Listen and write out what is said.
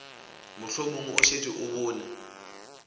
mohlomong o šetše o bone